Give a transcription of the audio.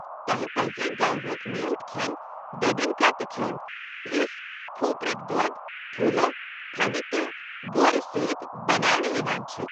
تۄہہِ پزِ گواہُک میوٹھ كھین بیبینکا تہِ کھیٚون یُس کھوپرٕکہ دود، ٹھوٗلو، تھٔنہِ تہٕ گورٕ سۭتۍ بناونہٕ یوان چھُ۔